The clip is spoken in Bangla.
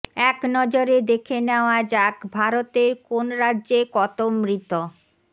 এক নজরে দেখে নেওয়া যাক ভারতের কোন রাজ্যে কত মৃত